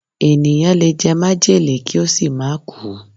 Ènìyàn lè jẹ májèlé kí ó sì má kùú